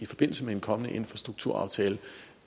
forbindelse med en kommende infrastrukturaftale